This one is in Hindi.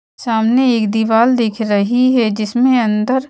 सामने एक दीवाल दिख रही है जिसमें अंदर--